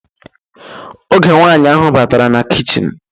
Oge nwaanyi ahụ batara na kichin